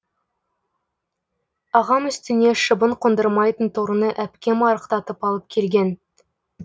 ағам үстіне шыбын қондырмайтын торыны әпкем арықтатып алып келген